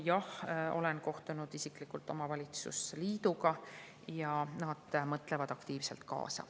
Jah, olen kohtunud isiklikult omavalitsuste liiduga ja nad mõtlevad aktiivselt kaasa.